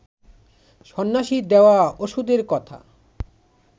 সন্ন্যাসীর দেওয়া ওষুধের কথা